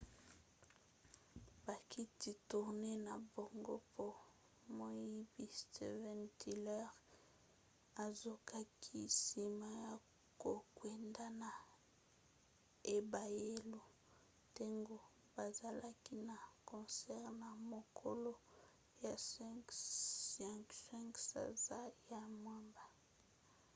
bakiti tournee na bango po moyembi steven tyler azokaki nsima ya kokwenda na ebayelo ntango bazalaki na concert na mokolo ya 5 sanza ya mwambe